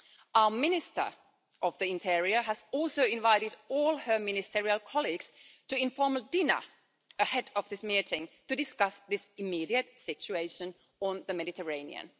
Our Minister of the Interior has also invited all her ministerial colleagues to an informal dinner ahead of this meeting to discuss this immediate situation in the Mediterranean.